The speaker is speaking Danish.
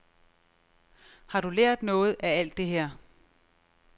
Har du lært noget af alt det her?